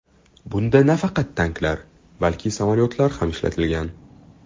Bunda nafaqat tanklar, balki samolyotlar ham ishlatilgan.